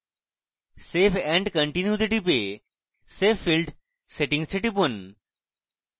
save and continue তে টিপে save field settings এ টিপুন